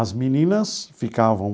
As meninas ficavam